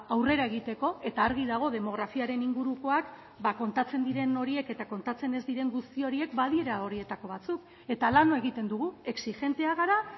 aurrera egiteko eta argi dago demografiaren ingurukoak ba kontatzen diren horiek eta kontatzen ez diren guzti horiek badiela horietako batzuk eta lan egiten dugu exijenteak gara